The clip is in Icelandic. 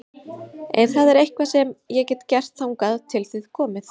Ef það er eitthvað sem ég get gert þangað til þið komið